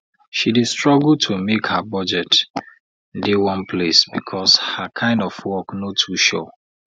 she dey struggle to make her budget dey one place because her kain of work no too sure